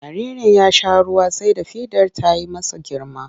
Jaririn ya sha ruwa sai da fidar ta yi masa girma.